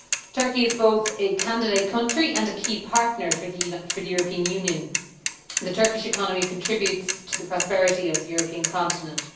Turkey is both a candidate country and a key partner for the European Union. The Turkish economy contributes to the prosperity of the European continent.